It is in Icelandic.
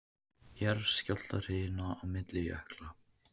Jarðskjálftahrina milli jökla